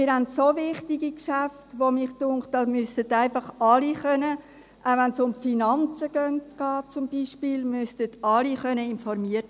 Wir haben dermassen wichtige Geschäfte, dass mich dünkt, es müssten alle informiert werden können, auch wenn es zum Beispiel um Finanzen geht.